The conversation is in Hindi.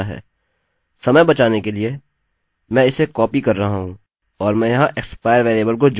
समय बचाने के लिए मैं इसे कॉपी कर रहा हूँ और मैं यहाँ expire वेरिएबल को जोड़ूँगा